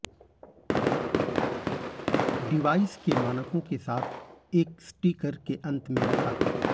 device के मानकों के साथ एक स्टीकर के अंत में रखा